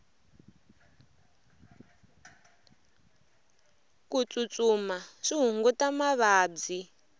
ku tsutsuma swi hunguta mavabyi